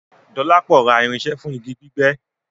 Dọlápọ̀ rá irinṣẹ́ fún igi gbígbẹ́